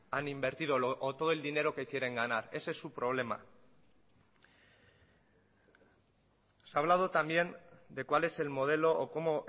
han invertido o todo el dinero que quieren ganar ese es su problema se ha hablado también de cuál es el modelo o cómo